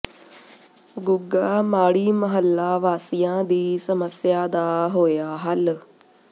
ਗੁਗਾ ਮਾੜੀ ਮਹੱਲਾ ਵਾਸੀਆਂ ਦੀ ਸਮੱਸਿਆ ਦਾ ਹੋਇਆ ਹੱਲ